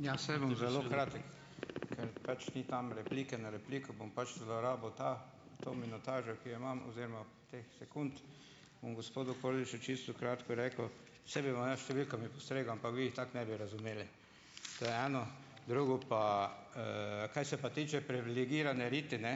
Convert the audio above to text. Ja, saj bom zelo kratek, ker pač ni tam replike na repliko, bom pač zlorabil ta, to minutažo, ki jo imam, oziroma teh sekund, bom gospodu Kordišu čisto kratko rekel. Saj bi vam jaz s številkami postregel, ampak vi jih tako ne bi razumeli. To je eno. Drugo pa, kaj se pa tiče privilegirane riti, ne,